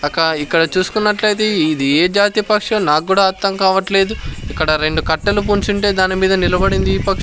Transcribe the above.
అక్క ఇక్కడ చూసుకున్నట్లయితే ఇది ఏ జాతి పక్షో నాక్కూడా అర్థం కావట్లేదు ఇక్కడ రెండు కట్టలు బుంచుంటే దానిమీద నిలబడింది ఈ పక్షి.